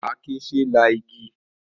Àáké ṣe é la igi.